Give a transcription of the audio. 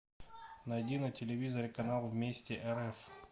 найди на телевизоре канал вместе рф